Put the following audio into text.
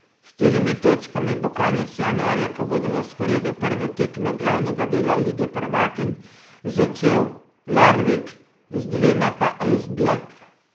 S štirimi točkami bo konec januarja, ko bodo na sporedu prve tekme glavnega dela lige prvakinj, začel Larvik, z dvema pa Esbjerg.